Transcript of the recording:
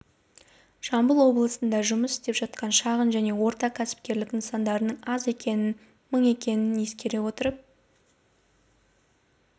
жамбыл облысында жұмыс істеп жатқан шағын және орта кәсіпкерлік нысандарының аз екенін мың екенін ескере отырып